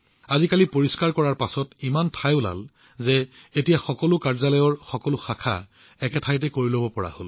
আজিকালি এই পৰিষ্কাৰপৰিচ্ছন্নতাৰ বাবে ইমান ঠাই উপলব্ধ যে এতিয়া সকলো কাৰ্যালয় এটা স্থানতে একত্ৰিত হৈছে